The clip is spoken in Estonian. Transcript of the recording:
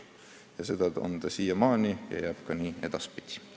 Nii on see olnud siiamaani ja see jääb nii ka edaspidi.